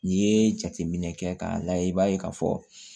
N'i ye jateminɛ kɛ k'a layɛ i b'a ye k'a fɔ